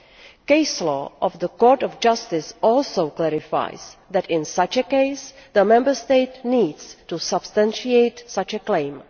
The case law of the Court of Justice also clarifies that, in such a case, the Member State needs to substantiate such a claim.